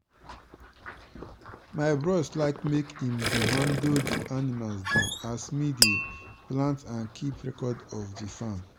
my bros like make i'm dey handle di animal dem as me dey plant and kip record for di farm.